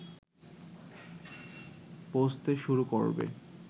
পৌঁছতে শুরু করবে